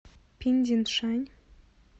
пиндиншань